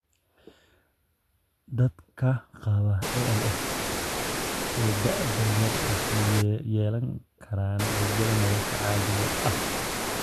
Dadka qaba ALS ee da'da yar waxay yeelan karaan rajada nolosha caadiga ah.